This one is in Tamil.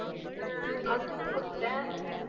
ஹம் okay குடுத்துட்டேன்